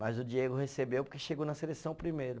Mas o Diego recebeu porque chegou na seleção primeiro.